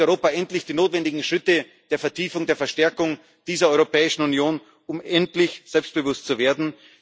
Geht Europa endlich die notwendigen Schritte der Vertiefung, der Verstärkung dieser Europäischen Union, um endlich selbstbewusst zu werden?